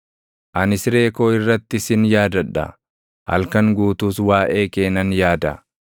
Ani siree koo irratti sin yaadadha; halkan guutuus waaʼee kee nan yaada.